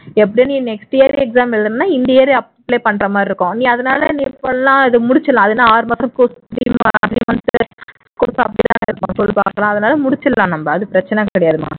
எப்படியும் நீ next year exam எழுதணும்னா இந்த year ஏ apply பண்றமாதிரி இருக்கும் நீ அதுனால இப்ப எல்லாம் இது முடிச்சிடலாம் அது என்ன ஆறு மாசம் சொல்லு பார்க்கலாம் அதுனால முடிச்சிறலாம் நம்ம அது பிரச்சினை கிடையாதுமா